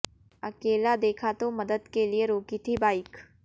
अकेला देखा तो मदद के लिए रोकी थी बाइक